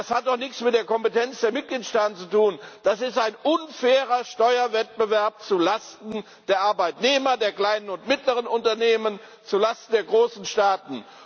Das hat doch nichts mit der Kompetenz der Mitgliedstaaten zu tun, das ist ein unfairer Steuerwettbewerb zulasten der Arbeitnehmer, der kleinen und mittleren Unternehmen, zulasten der großen Staaten.